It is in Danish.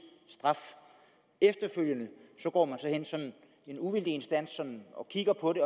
straf efterfølgende går en uvildig instans ind og kigger på det